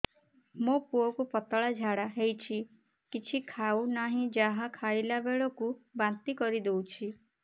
ମୋ ପୁଅ କୁ ପତଳା ଝାଡ଼ା ହେଉଛି କିଛି ଖାଉ ନାହିଁ ଯାହା ଖାଇଲାବେଳକୁ ବାନ୍ତି କରି ଦେଉଛି